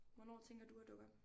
Hvornår tænker du at dukke op?